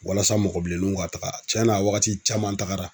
Walasa mɔgɔ bilenninw ka taga cɛnna wagati caman tagara.